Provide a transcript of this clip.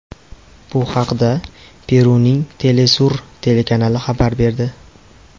Bu haqda Peruning Telesur telekanali xabar berdi.